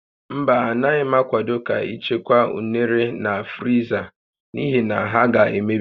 Mba, Anaghị m akwado ka ị chekwaa unere na friza n'ihi na ha ga-emebi